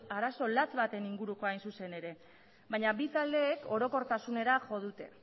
arazo latz baten ingurukoa hain zuzen ere baina bi taldeek orokortasunera jo dute